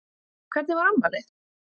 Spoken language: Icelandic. Hvernig var afmælið?